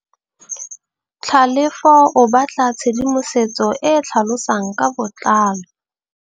Tlhalefô o batla tshedimosetsô e e tlhalosang ka botlalô.